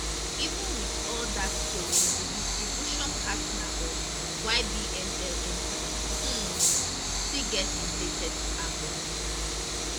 even wit all dat tori di distribution partner of ybnl empire um still get im latest album